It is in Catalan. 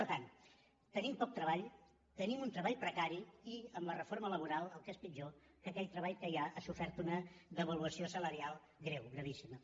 per tant tenim poc treball tenim un treball precari i amb la reforma laboral el que és pitjor que aquell treball que hi ha ha sofert una devaluació salarial greu gravíssima